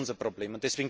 Das ist unser Problem.